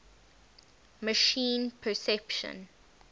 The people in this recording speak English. machine perception